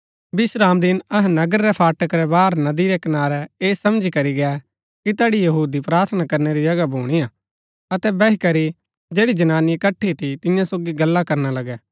विश्रामदिन अहै नगर रै फाटक रै बाहर नदी रै कनारै ऐह समझी करी गै कि तैड़ी यहूदी प्रार्थना करणै री जगह भुणीआ अतै बैही करी जैड़ी जनानी इकट्ठी थी तिन्या सोगी गल्ला करना लगै